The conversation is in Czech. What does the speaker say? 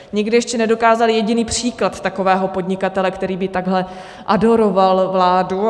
Nikdo ještě nedokázal jediný příklad takového podnikatele, který by takhle adoroval vládu.